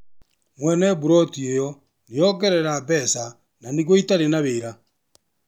Mwene buloti ĩyo nĩongera mbeca na nĩguo itarĩ na wĩra.